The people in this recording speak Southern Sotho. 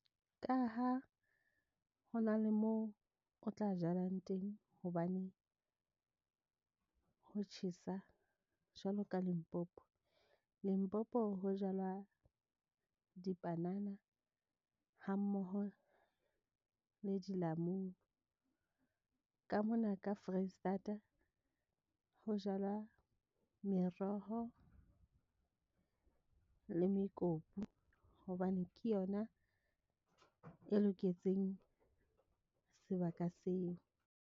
Ka ha ho na le moo o tla jalang teng hobane, ho tjhesa jwalo ka Limpopo. Limpopo, ho jalwa dipanana ha mmoho le dilamunu. Ka mona ka Foreisetata ho jalwa meroho, le mekopu hobane ke yona e loketseng sebaka seo.